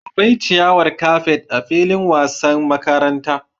Akwai ciyawar kafet a filin wasan makaranta